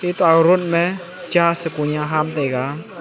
ta road mey cha shiko nya haam taiga.